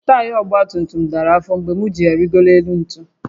Taya ọgba tum tum dara afọ mgbe m jì ya rịgoro élú ntu